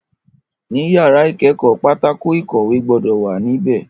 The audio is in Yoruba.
Ní yàrá ìkẹ́kọ̀ọ́, pátákó ìkọ̀wẹ́ gbọ́dọ̀ wà ní bẹ̀